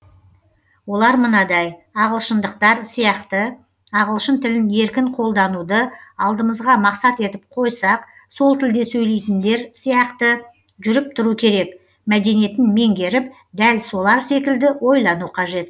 олар мынадай ағылшындықтар сияқты ағылшын тілін еркін қолдануды алдымызға мақсат етіп қойсақ сол тілде сөйлейтіндер сияқты жүріп тұру керек мәдениетін меңгеріп дәл солар секілді ойлану қажет